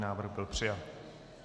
Návrh byl přijat.